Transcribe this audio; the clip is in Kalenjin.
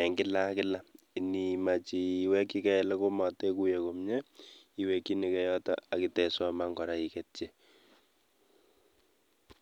eng kila ak kila in imeche iwekchigei eli matiguye komie iwekchinigei yota akitesoman kora iketyi.